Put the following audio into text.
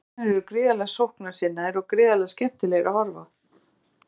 Blikarnir eru gríðarlega sóknarsinnaðir og gríðarlega skemmtilegir á að horfa.